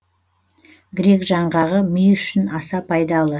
грек жаңғағы ми үшін аса пайдалы